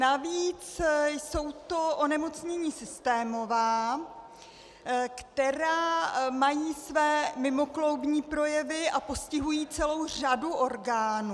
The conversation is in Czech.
Navíc jsou to onemocnění systémová, která mají své mimokloubní projevy a postihují celou řadu orgánů.